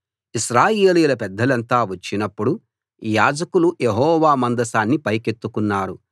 ఇశ్రాయేలీయుల పెద్దలంతా వచ్చినప్పుడు యాజకులు యెహోవా మందసాన్ని పైకెత్తుకున్నారు